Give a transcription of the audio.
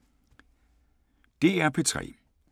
DR P3